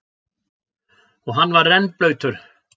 Og hann var rennblautur.